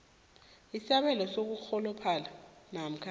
isabelo sokurholophala namkha